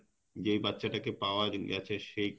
যে বাচ্চা টাকে পাওয়া গেছে সেই